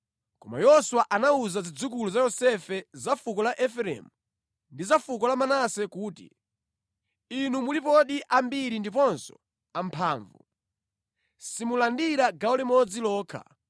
Koma Yoswa anawuza zidzukulu za Yosefe, za fuko la Efereimu ndi za fuko la Manase kuti, “Inu mulipodi ambiri ndiponso amphamvu. Simulandira gawo limodzi lokha,